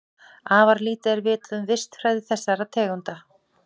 Afar lítið er vitað um vistfræði þessara tegunda.